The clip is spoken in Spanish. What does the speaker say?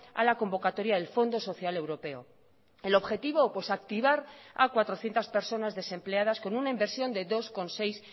a la convocatoria del fondo social europeo el objetivo activar a cuatrocientos personas desempleadas con una inversión de dos coma seis